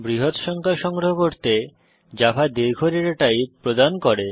বৃহৎ সংখ্যা সংগ্রহ করতে জাভা দীর্ঘ ডেটা টাইপ প্রদান করে